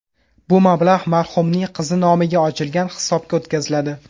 Bu mablag‘ marhumning qizi nomiga ochilgan hisobga o‘tkaziladi.